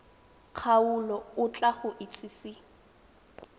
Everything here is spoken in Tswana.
kgaolo o tla go itsise